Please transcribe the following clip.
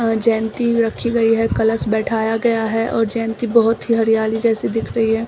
आ जयंती रखी गई है कलश बैठाया गया है और जयंती बहुत ही हरियाली जैसी दिख रही है।